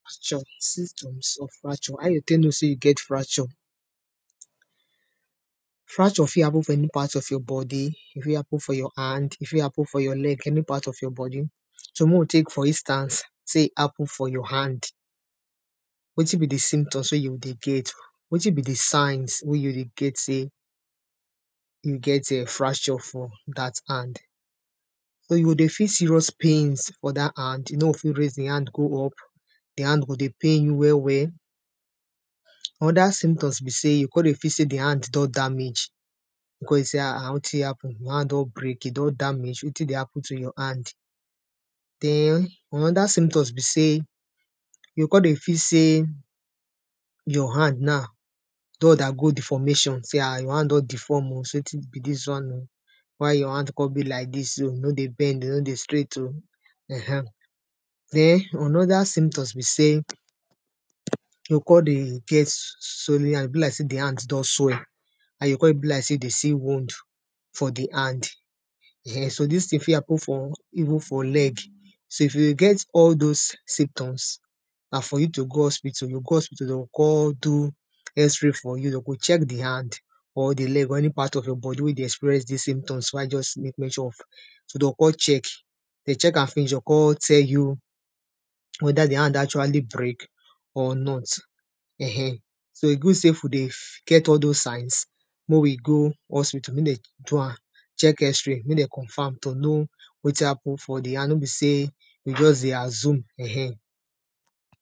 Fracture symptoms of fracture. how you take know sey you get fracture, fracture fi happen for any part for your body. E fi happen for your hand, e fi happen for your leg any part of your body. So mey we take for instance sey e happen for your hand, wetin be di symptoms wey you go dey get, wetin be di signs wey you dey get sey you get um fracture for dat hand. dey feel serious pains for dat hand, you no go fit raise di hand go up, di hand go dey pain you well well, oda symptoms be sey, you go come dey feel sey di hand don damage. You go come dey sey, ahn ahn, wetin happen, d hand don break, e don damage, wetin dey happen to your hand? Den another symptoms be sey, you go come dey feel sey your hand na don undergo deformation, sey um your hand don deform oh, sey wetin be dis one oh, why your hand come be like dis oh, e nor dey bend, e nor dey straight oh ehen, den another symptoms be sey, you go come dey get swollen hand, be like sey di hand don swell and e come be like sey you dey see wound for di hand um. So dis thing fi happen for, even for leg. So if you dey get all those symptoms, na for you to go hospital, you go go hospital, dem go come do x-ray for you, dem go check di hand, or di leg, or any part of your body wey dey experience dis symptoms wey I just make mention of, so dem go come check, if dem check am finish, dem go come tell you whether di hand actually break or not. um, so e good sey if we dey get all doz signs, mey we go hospital, mey dem do am check x-ray make dem confirm to know wetin happen for di hand, nor be sey, you go just dey assume um.